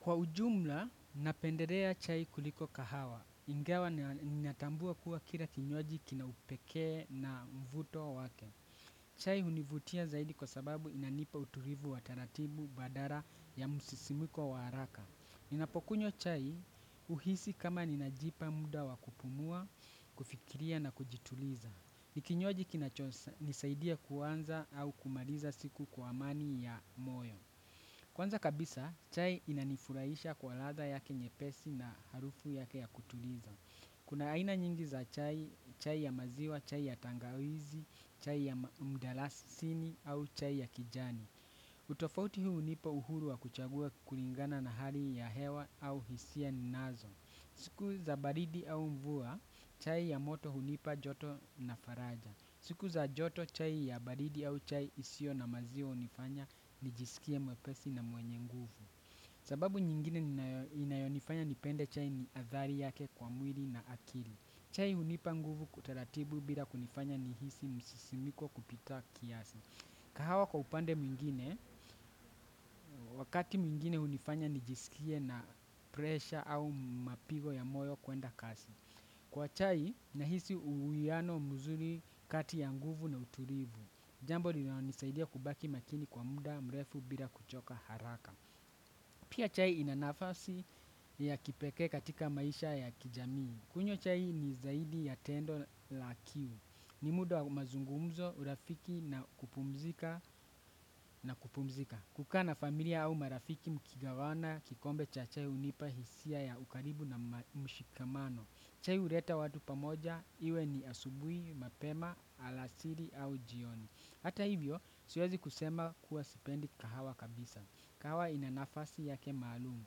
Kwa ujumla, napendelea chai kuliko kahawa. Ingawa ninatambua kuwa kila kinywaji kina upekea na mvuto wake. Chai hunivutia zaidi kwa sababu inanipa utulivu wa taratibu badala ya msisimko haraka. Ninapokunywa chai huhisi kama ninajipa muda wakupumua, kufikiria na kujituliza. Nikinywaji kinachonisaidia kuanza au kumaliza siku kwa amani ya moyo. Kwanza kabisa, chai inanifuraisha kwa ladha yake nyepesi na harufu yake ya kutuliza. Kuna aina nyingi za chai, chai ya maziwa, chai ya tangawizi, chai ya mdalasisini au chai ya kijani. Utofauti huu nipo uhuru wa kuchagua kulingana na hali ya hewa au hisia ninazo. Siku za baridi au mvua, chai ya moto hunipa joto na faraja. Siku za joto chai ya baridi au chai isiyo na maziwa hunifanya nijisikie mwepesi na mwenye nguvu. Sababu nyingine inayonifanya nipende chai ni athari yake kwa mwili na akili. Chai hunipa nguvu kutaratibu bila kunifanya nihisi msisimiko kupitia kiasi. Kahawa kwa upande mwingine, wakati mwingine unifanya nijisikie na presha au mapigo ya moyo kuenda kasi. Kwa chai, nahisi uwiano mzuri kati ya nguvu na utulivu. Jambo linalonisaidia kubaki makini kwa muda mrefu bila kuchoka haraka. Pia chai inanafasi ya kipekee katika maisha ya kijamii. Kunywa chai ni zaidi ya tendo la kiu. Ni muda wa mazungumzo, urafiki na kupumzika na kupumzika. Kukaa na familia au marafiki mkigawana kikombe cha chai hunipa hisia ya ukaribu na mshikamano. Chai huleta watu pamoja, iwe ni asubuhi, mapema, alasiri au jioni. Hata hivyo, siwezi kusema kuwa sipendi kahawa kabisa. Kahawa inanafasi yake maalumu.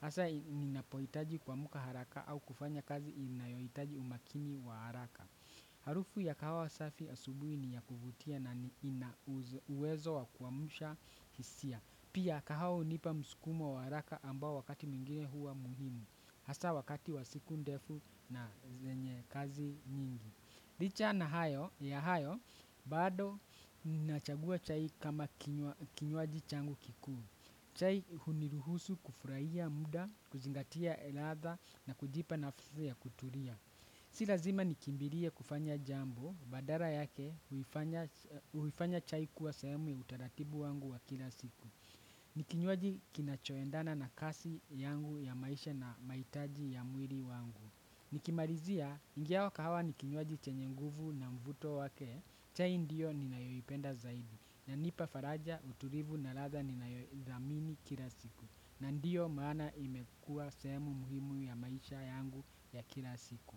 Hasa inapohitaji kuamka haraka au kufanya kazi inayohitaji umakini wa haraka. Harufu ya kahawa safi asubuhi ni ya kuvutia na inauwezo wa kuamusha hisia. Pia kahawa hunipa msukumo wa haraka ambao wakati mwengine huwa muhimu. Hasa wakati wa siku ndefu na zenye kazi nyingi. Licha, ya hayo, bado ninachagua chai kama kinywaji changu kikuu. Chai huniruhusu kufurahia muda, kuzingatia ladha na kujipa nafuu ya kutulia. Si lazima nikimbilie kufanya jambo, badala yake huifanya chai kuwa sehemu ya utaratibu wangu wa kila siku. Ni kinywaji kinachoendana na kasi yangu ya maisha na mahitaji ya mwili wangu. Nilimalizia, ingawa kahawa ni kinywaji chenye nguvu na mvuto wake. Chai ndiyo ninayoipenda zaidi hunipa faraja, utulivu na ladha ninayoizlthamini kila siku. Na ndiyo maana imekuwa sehemu muhimu ya maisha yangu ya kila siku.